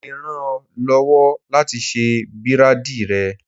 Mo le ràn ọ́ lọ́wọ́ láti ṣe bírádìì rẹ.